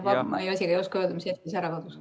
Ma isegi ei oska öelda, mis hetkel see ära kadus.